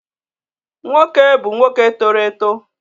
Nwoke bu nwoke toro eto